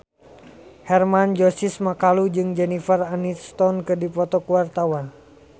Hermann Josis Mokalu jeung Jennifer Aniston keur dipoto ku wartawan